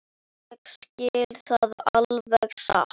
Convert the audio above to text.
Ég segi það alveg satt.